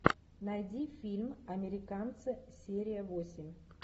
найди фильм американцы серия восемь